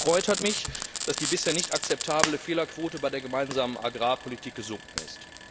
Erfreut hat mich, dass die bisher nicht akzeptable Fehlerquote bei der Gemeinsamen Agrarpolitik gesunken ist.